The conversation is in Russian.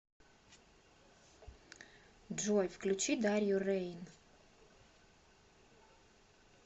джой включи дарью рэйн